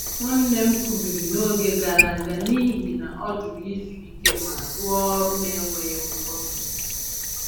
Nwanne m kubiri n’oge gara aga n’ihi na ọ jụru izu ike ma rụọ ọrụ n’enweghị nkwụsị.